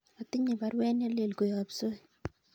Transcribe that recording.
Atinye baruet nelelach koyob Soi